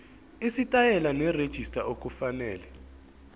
isitayela nerejista okufanele